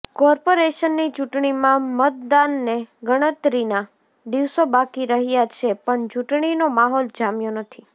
કોર્પોરેશનની ચૂંટણીમાં મતદાનને ગણતરીના દિવસો બાકી રહ્યાં છે પણ ચૂંટણીનો માહોલ જામ્યો નથી